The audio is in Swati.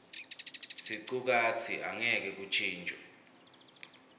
sicukatsi angeke kuntjintjwe